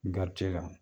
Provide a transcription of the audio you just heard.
kan